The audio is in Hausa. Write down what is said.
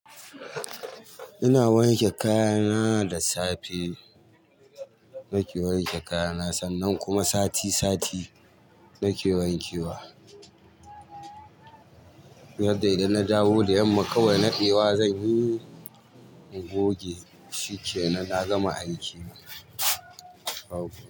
Ina wanke kaya na da safe nake wanke kaya na sannan kuma sati sati nake wanke wa. Yadda idan na dawo da yamma kawai na ɗewa zan yi goge, shi ke nan na gama aiki na.